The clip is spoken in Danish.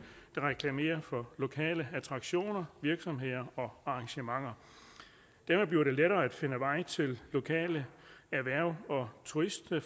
der reklamerer for lokale attraktioner virksomheder og arrangementer dermed bliver det lettere at finde vej til lokale erhverv og turistmål